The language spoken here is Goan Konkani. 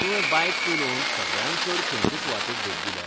तुवें बायक चलोवन सगळ्यांत चड खंयचे सुवातेक भेट दिल्या ?